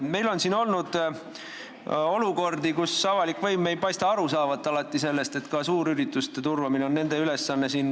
Meil on olnud olukordi, kus avalik võim ei ole alati aru saanud sellest, et ka suurürituste turvamine on nende ülesanne.